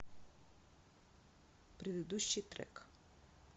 предыдущий трек